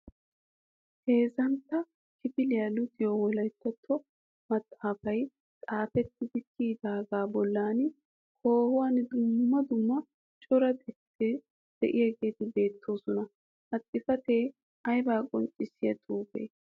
Heezzantta kifiliya luxiyo wolayttattuwa maxaafay xaafettidi kiyidaagan bolla koohuwan dumma dumma cora xuufeti de'iyageeti beettoosona. Ha xuufeti ayba qonccissiya xuufee?